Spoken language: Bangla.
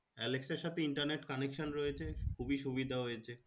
alexa র সাথে internet connection রয়েছে খুবই সুবিধা হয়েছে